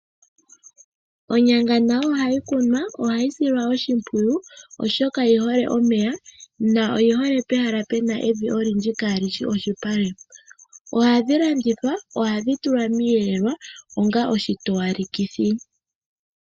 Onyanga nayo ohayi kunwa. Ohayi silwa oshimpwiyu, oshoka oyi hole omeya noyi hole pehala pu na evi olindji kaali shi iipale. Ohadhi landithwa. Ohadhi tulwa miiyelelwa onga oshitowalekithi.